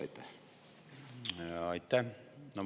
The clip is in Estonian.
Aitäh!